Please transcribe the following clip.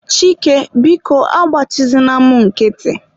Chike, biko agbachizina mụ nkịtị.